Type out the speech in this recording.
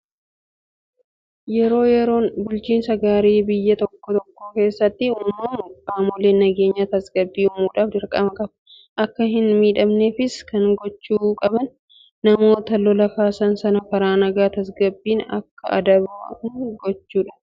Yeroo rakkoon bulchiinsa gaarii biyya tokko tokko keessatti uumamu qaamoleen nageenyaa tasgabbii uumuudhaaf dirqama qabu. Akka hin miidhamneefis kan gochuu qaban namoota lola kaasan sana karaa nagaa tasagabbiin akka deebi'an gochuudha.